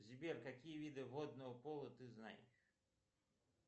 сбер какие виды водного поло ты знаешь